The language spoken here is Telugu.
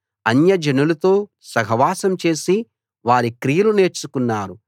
అన్యజనులతో సహవాసం చేసి వారి క్రియలు నేర్చుకున్నారు